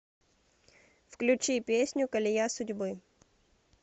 включи песню колея судьбы